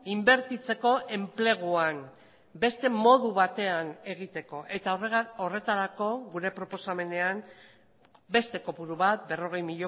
inbertitzeko enpleguan beste modu batean egiteko eta horretarako gure proposamenean beste kopuru bat berrogei